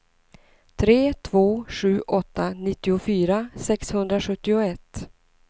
tre två sju åtta nittiofyra sexhundrasjuttioett